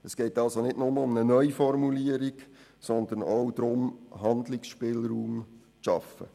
Es geht also nicht nur um eine Neuformulierung, sondern auch darum, Handlungsspielraum zu schaffen.